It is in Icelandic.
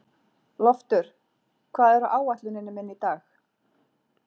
Loftur, hvað er á áætluninni minni í dag?